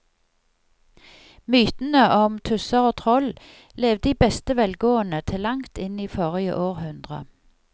Mytene om tusser og troll levde i beste velgående til langt inn i forrige århundre.